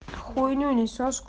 хуйне